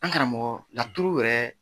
An karamɔgɔ laturu yɛrɛ